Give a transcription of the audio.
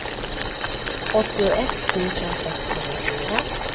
åttioett tusen sexhundrafyra